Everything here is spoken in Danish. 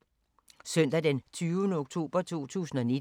Søndag d. 20. oktober 2019